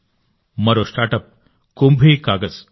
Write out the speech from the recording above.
మరో స్టార్టప్ కుంభీ కాగజ్